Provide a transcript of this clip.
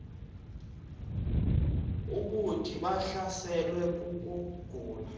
bathi bahlaselwe kukugula